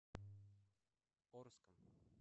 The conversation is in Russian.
орском